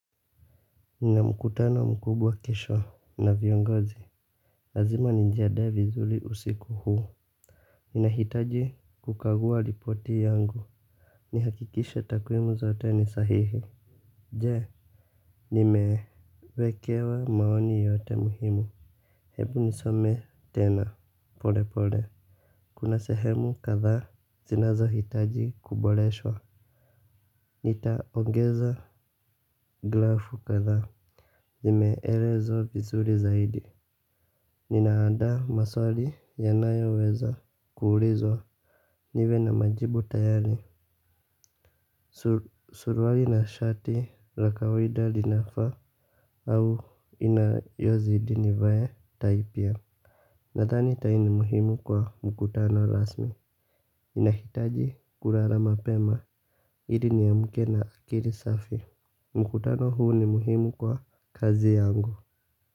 Nina mkutano mkubwa kesho na viongozi. Lazima nijiandae vizuri usiku huu. Ninahitaji kukagua ripoti yangu. Ni hakikishe takwimu zote ni sahihi. Je nimewekewa maoni yote muhimu. Hebu nisome tena pole pole. Kuna sehemu kadhaa zinazo hitaji kuboreshwa. Nitaongeza glafu kadhaa. Zimeelezwa vizuri zaidi. Nina andaa maswali yanayo weza kuulizwa. Niwe na majibu tayari. Suruali na shati la kawaida linafaa au inayozidi ni vae tai pia. Nadhani tai ni muhimu kwa mkutano rasmi. Nahitaji kulala mapema iri ni amke na akiri safi. Mkutano huu ni muhimu kwa kazi yangu.